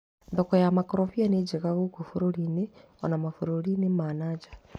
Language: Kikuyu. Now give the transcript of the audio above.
Thoko ya makorobia nĩ njega gũkũ bũrũri-inĩ ona mabũrũri ma na nja.